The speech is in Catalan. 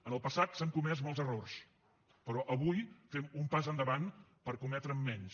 en el passat s’han comès molts errors però avui fem un pas endavant per cometre’n menys